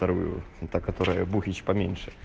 та которая буфеч поменьше